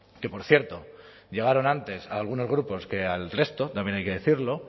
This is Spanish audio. que por cierto llegaron antes a algunos grupos que al resto también hay que decirlo